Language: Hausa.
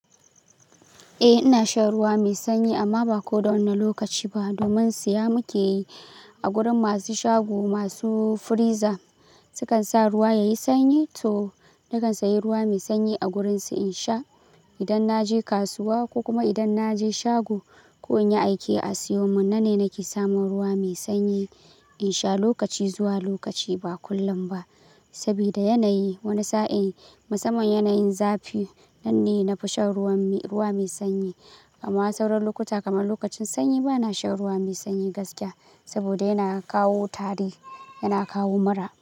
Eh ina shan ruwa mai sanyi amma ba ko da wane lokaci ba. Domin siya muke yi a gurin masu shago masu freezer. Su kan sa ruwa yayi sanyi to nakan sayi ruwa mai sanyi a gurinsu in sha. Idan na je kasuwa ko kuma idan na je shago ko in yi aike a siyo mun na ne nake samun ruwa mai sanyi in sha lokaci zuwa lokaci ba kullum ba. Saboda yanayi wani sa'in musamman yanayin zafi nan ne na fi shan ruwan, ruwa mai sanyi. Amma sauran lokuta kamar lokacin sanyi ba na shan ruwa mai sanyi gaskiya saboda yana kawo tari, yana kawo mura.